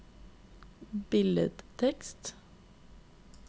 billedtekst